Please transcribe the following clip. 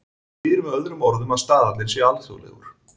Það þýðir með öðrum orðum að staðallinn sé alþjóðlegur.